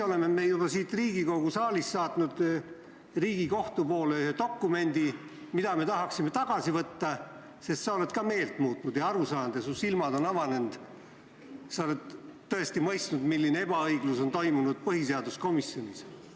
Selleks ajaks oleme juba siit Riigikogu saalist saatnud Riigikohtu poole teele ühe dokumendi, mida me tahaksime tagasi võtta, sest sa oled meelt muutnud ja aru saanud, su silmad on avanenud ja sa oled mõistnud, milline ebaõiglus on põhiseaduskomisjonis toimunud.